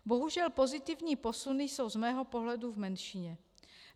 Bohužel pozitivní posuny jsou z mého pohledu v menšině.